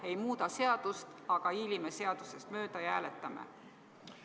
Ei muuda seadust, aga hiilime seadusest mööda ja hääletame?